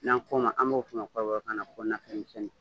N'an ko ma an b'o fɔ o ma kɔrɔbɔ kan na ko nafɛnmisɛnni.